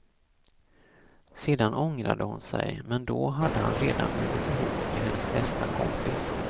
Sedan ångrade hon sig, men då hade han redan blivit ihop med hennes bästa kompis.